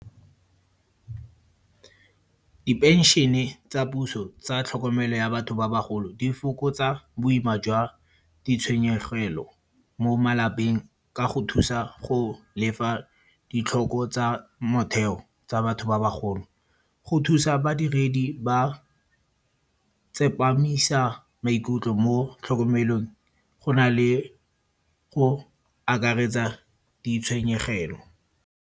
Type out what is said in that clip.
Dipenšene tsa puso tsa tlhokomelo ya batho ba bagolo, di fokotsa boima jwa ditshwenyegelo mo malapeng ka go thusa go lefa ditlhoko tsa motheo tsa batho ba bagolo. Go thusa badiredi, ba tsepamisa maikutlo mo tlhokomelong go na le go akaretsa ditshwenyegelo.